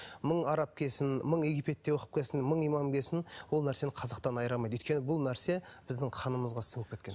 мың араб келсін мың египетте оқып келсін мың имам келсін ол нәрсені қазақтан айыра алмайды өйткені бұл нәрсе біздің қанымызға сіңіп кеткен